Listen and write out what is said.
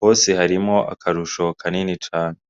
hose harimwo akarusho kanini cane.